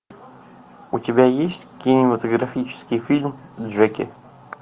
у тебя есть кинематографический фильм джеки